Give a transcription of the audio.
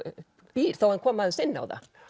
býr þó hann komi aðeins inn á það